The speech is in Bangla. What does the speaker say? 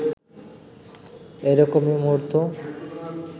এরকমই মুহূর্ত